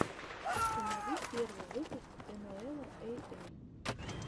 установи первый выпуск энуэла эй эй